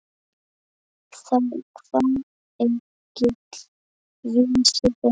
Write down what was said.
Þá kvað Egill vísu þessa